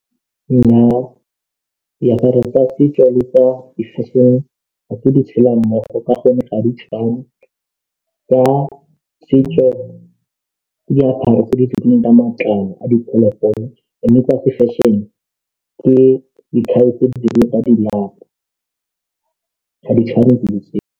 Nna diaparo tsa setso le tsa di-fashion-e ga nke di tshela mmogo ka gonne ga di tshwane, tsa setso ke diaparo tse di dirilweng ka matlalo a diphologolo mme tsa fashion-e ke dikhai tse di dirilweng ka di lapa ga di tshwane dilo tse.